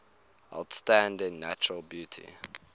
outstanding natural beauty